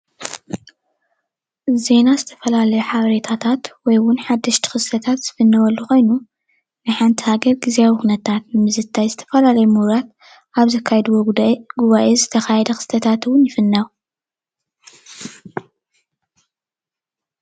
ዜና ዝተፈላለዩ ሓበሬታታት ወይ ውን ሓደሽቲ ኽስተታት ዝፍነውሉ ኾይኑ ናይ ሓንቲ ሃገር ዝተፈላለዩ ግዝያዊ ኹነታት ንምዝታይ ዝተፈላለዩ ሙሁራት ኣብ ዘካየድዎ ጉዳይ ጉባኤ ዝተኻየደ ኽስታት እውን ይፍኖ።